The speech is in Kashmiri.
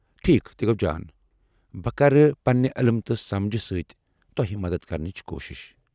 ٹھیكھ ، تہِ گوٚ جان۔ بہٕ کر پننہ علم تہٕ سمجھہٕ سۭتۍ تۄہہ مدتھ کرنٕچ کوٗشِش۔